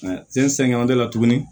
Sen sɛgɛn la tuguni